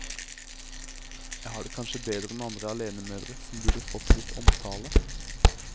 Jeg har det kanskje bedre enn andre alenemødre som burde fått litt omtale.